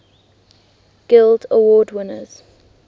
guild award winners